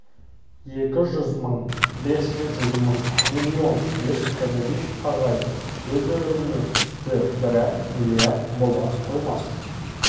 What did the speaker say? екі жүз мың бес жүз мың миллион деп бенедикт ағай өзеурене түсті бірақ миллиард бола қоймас